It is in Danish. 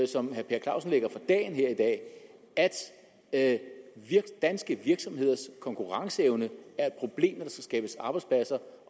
som herre per clausen lægger for dagen her i dag at danske virksomheders konkurrenceevne er et problem skabes arbejdspladser